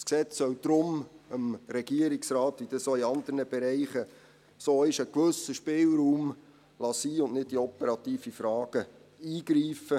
Das Gesetz soll deshalb dem Regierungsrat einen gewissen Spielraum geben, so wie das auch in anderen Bereichen ist, und nicht in operative Fragen eingreifen.